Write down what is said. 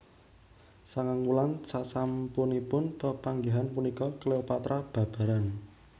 Sangang wulan sasampunipun pepanggihan punika Cleopatra babaran